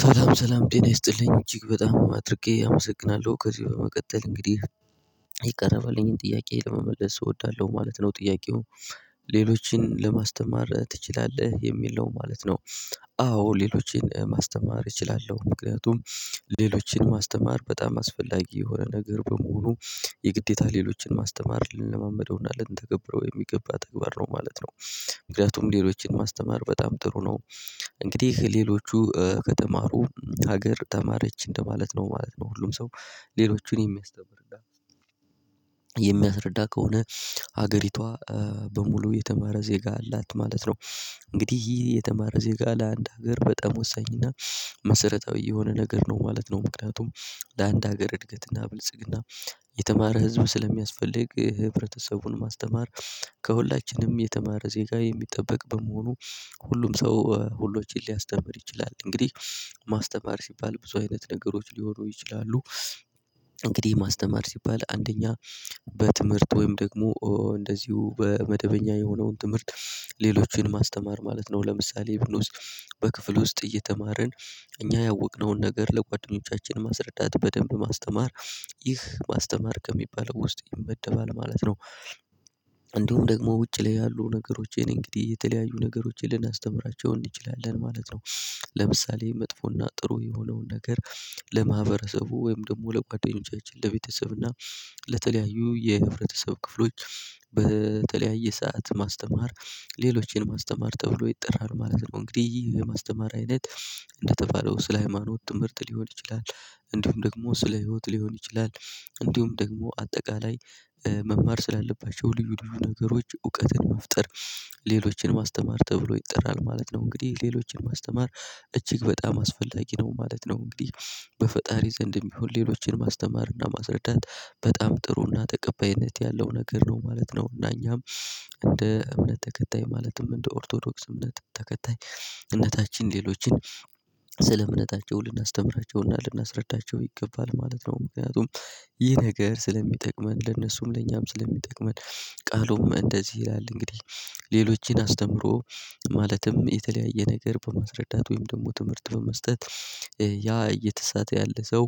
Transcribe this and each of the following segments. ሰላም ሰላም ጤና ይስጥልኝ እጅግ በጣም አድርጌ አመሰግናለሁ ከዚህ በመቀጠል እንግዲህ ይቀርባልኝን ጥያቄ ለመመለስ እወዳለሁ ማለት ነው ጥያቄው ሌሎችን ለማስተማር ትችላለህ? የሚል ነው ማለት ነው? አዎ ሌሎችን ማስተማር እችላለሁ ምክንያቱም ሌሎችን ማስተማር በጣም አስፈላጊ የሆነ ነገር በመሆኑ የግዴታ ሌሎችን ማስተማር ልንለማመደውና ልንተገብረው የሚገባ ተግባር ነው ማለት ነው። ምክንያቱም ሌሎችን ማስተማር በጣም ጥሩ ነው። እንግዲህ ሌሎቹ ከተማሩ ሀገር ተማረች እንደማለት ነው ማለት ነው ሁሉም ሰው ሌሎቹን የሚያስተምር የሚያስረዳ ከሆነ ሀገሪቷ በሙሉ የተማረ ዜጋ አላት ማለት ነው። እንግዲህ የተማረ ዜጋ ለአንድ ሀገር በጣም ወሳኝና መሰረታዊ የሆነ ነገር ነው ማለት ነው። ምክንያቱም ለአንድ ሀገር እድገትና ብልጽግና የተማረ ህዝብ ስለሚያስፈልግ ህብረተሰቡን ማስተማር ከሁላችንም የተማረ ዜጋ የሚጠበቅ በመሆኑ ሁሉም ሰው ሁሎችን ሊያስተምር ይችላል እንግዲህ ማስተማር ሲባል ብዙ አይነት ነገሮች ሊሆኑ ይችላሉ። እንግዲህ ማስተማር ሲባል አንደኛ በትምህርት ወይም ደግሞ በመደበኛ የሆነውን ትምህርት ሌሎችን ማስተማር ማለት ነው ለምሳሌ:- ብሎስ በክፍል ውስጥ እየተማርን እኛ ያወቅነውን ነገር ለጓደኞቻችን ማስረዳት በደንብ ማስተማር ይህ ማስተማር ከሚባል ውስጥ ይመደባል ማለት ነው። እንደውም ደግሞ ውጪ ላይ ያሉ ነገሮች የኔ እንግዲህ የተለያዩ ነገሮችን ልናስተምራቸው እንችላለን ማለት ነው። ለምሳሌ:- መጥፎና ጥሩ የሆነውን ነገር ወይም ደግሞ ለጓደኞቻችን ለቤተሰብ እና ለተለያዩ የህብረተሰብ ክፍሎች በተለያየ ሰዓት ማስተማር ሌሎችን ማስተማር ተብሎ ይጠራል ማለት ነው። እንግዲህ የማስተማር አይነት እንደተባለው ስለ ሃይማኖት ትምህርት ሊሆን ይችላል እንዲሁም ደግሞ ስለ ህይወት ሊሆን ይችላል። እንዲሁም ደግሞ አጠቃላይ መማር ስላለባቸው ልዩ ልዩ ነገሮች እውቀትን መፍጠር ሌሎችንም ማስተማር ተብሎ ይጠራል ማለት ነው። እንግዲህ ሌሎችን ማስተማር እጅግ በጣም አስፈላጊ ነው ማለት ነው እንግዲህ በፈጣሪ ዘንድ የሚሆን ሌሎችን ማስተማርና ማስረዳት በጣም ጥሩና ተቀባይነት ያለው ነገር ነው ማለት ነው። እና እኛም እንደ እውነት ተከታይ ማለትም እንደ ኦርቶዶክስ እውነት ተከታይ እምነታችን ሌሎችን ስለ እምነታቸው ልናስተምራቸውና ልናስረዳቸው ይገባል ማለት ነው። ምክንያቱም ይህ ነገር ስለሚጠቅመን ለነሱም ለእኛም ስለሚጠቅመን ቃሉም እንደዚህ ይላል እንግዲህ ሌሎችን አስተምሮ ማለትም የተለያየ ነገር በማስረዳት ወይም ደግሞ ትምህርት በመስጠት ያ እየተሳተየ ያለ ሰው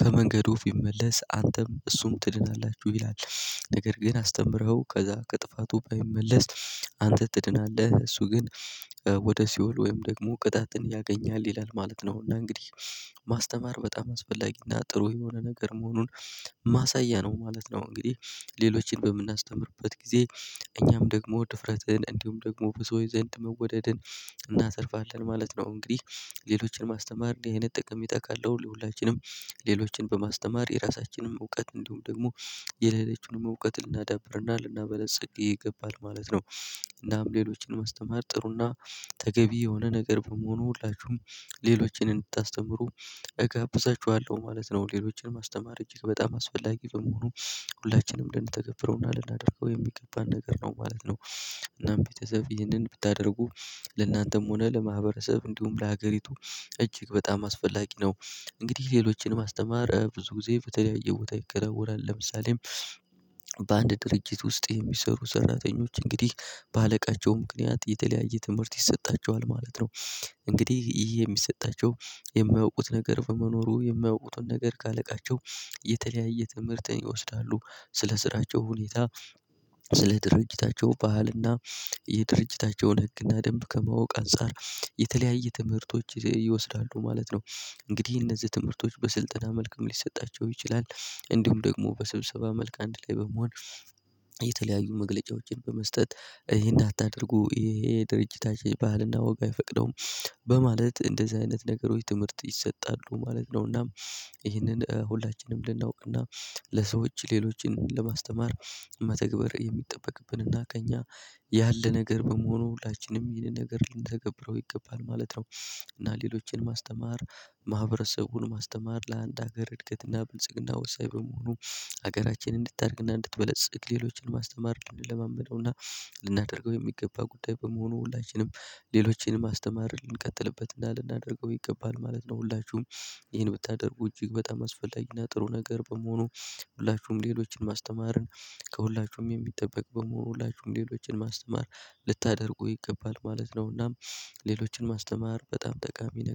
ከመንገድ ወፍ ይመለስ አንተም እሱም ትድላላችሁ ይላል። ነገር ግን አስተምረኸው ከዛ ከጥፋቱ ባይመለስ አንተ ትድናለህ እሱ ግን ወደ ሲኦል ወይም ደግሞ ቅጣትን ያገኛል ይላል ማለት ነው። እና እንግዲህ ማስተማር በጣም አስፈላጊና ጥሩ የሆነ ነገር መሆኑን ማሳያ ነው ማለት ነው። እንግዲህ ሌሎችን በምናስተምርበት ጊዜ እኛም ደግሞ ድፍረትን እንዲሁም ደግሞ በሰው ዘንድ መወደድን እናተርፋለን ማለት ነው። እንግዲህ ሌሎችን ማስተማር ይሄንን ጥቅም ይጠይቃል ለሁላችንም ሌሎችን በማስተማር የራሳችንን እውቀት እንደውም ደግሞ የሌላችንን እውቀት ልናዳብርና ልናበለጽግ ይገባል ማለት ነው። እናም ሌሎችን መስተማር ጥሩና ተገቢ የሆነ ነገር በመሆኑ ሁላችሁም ሌሎችንም እንድታስተምሩ እገብዛችኋለሁ ማለት ነው ሌሎችን ማስተማር እጅግ በጣም አስፈላጊ በመሆኑ ሁላችንም ልንተገብረውና ልናደርገው የሚገባን ነገር ነው ማለት ነው። እናም ቤተሰብ ይህንን ብታደርጉ ለእናንተም ሆነ ለማህበረሰብ እንዲሁም ለሀገሪቱ እጅግ በጣም አስፈላጊ ነው። እንግዲህ ሌሎችን ማስተማር ብዙ ጊዜ በተለያየ ቦታ ይከናወናል ለምሳሌ:- በአንድ ድርጅት ውስጥ የሚሰሩ ሰራተኞች እንግዲህ በአለቃቸው ምክንያት የተለያየ ትምህርት ይሰጣቸዋል ማለት ነው።። እንግዲህ ይሄ የሚሰጣቸው የማያውቁት ነገር በመኖሩ የማያውቁትን ነገር ካለቃቸው የተለያየ ትምህርትን ይወስዳሉ ስለ ስራቸው ሁኔታ ስለ ድርጅታቸው ባህልና የድርጅታቸውን ህግና ደንብ ከማወቅ አንፃር የተለያየ ትምህርቶች ይወስዳሉ ማለት ነው። እንግዲህ እነዚህ ትምህርቶች በስልጠና መልኩም ሊሰጣቸው ይችላል እንዲሁም ደግሞ በስብሰባ መልካም አንድ ላይ በመሆን የተለያዩ መግለጫዎችን በመስጠት ይሄን አታድርጉ ይሄ ድርጅታችን ባህልና ወግ አይፈቅደውም በማለት እንደዚህ አይነት ነገሮች ትምህርት ይሰጣሉ ማለት ነው። እና ይሄንን ሁላችንም ልናውቅ እና ለሰዎች ሌሎችን ለማስተማር መተግበር የሚጠበቅብን እና ከእኛ ያለ ነገር በመሆኑ ሁላችንም ይሄንን ነገር ልንተገብረው ይገባል ማለት ነው። እና ሌሎችን ማስተማር ማህበረሰቡን ማስተማር ለአንድ ሀገር እድገትና ብልጽግና ወሳኝ በመሆኑ ሀገራችንን እንድታደግና እንድትበለጽግ ሌሎችን ማስተማር እንድንለማመደውና ልናደርገው የሚገባ ጉዳይ በመሆኑ ሁላችንም ሌሎችንም ማስተማር ልንቀጥልበትና ልናደርገው ይገባል ማለት ነው። ሁላችሁም ይሄን ብታደርጉ እጅግ በጣም አስፈላጊና ጥሩ ነገር በመሆኑ ሁላችሁም ሌሎችን ማስተማርን ከሁላችሁም የሚጠበቅ በመሆኑ ሁላችሁም ሌሎችን ማስተማር ልታደርጉ ይገባል ማለት ነውና ሌሎችን ማስተማር በጣም ጠቃሚ